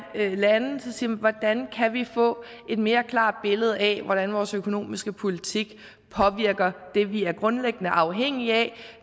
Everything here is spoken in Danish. lande siger man hvordan kan vi få et mere klart billede af hvordan vores økonomiske politik påvirker det vi er grundlæggende afhængige af